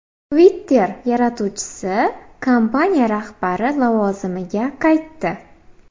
Twitter yaratuvchisi kompaniya rahbari lavozimiga qaytdi.